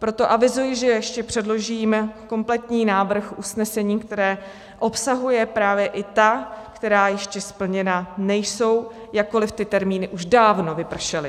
Proto avizuji, že ještě předložím kompletní návrh usnesení, které obsahuje právě i ta, která ještě splněna nejsou, jakkoli ty termíny už dávno vypršely.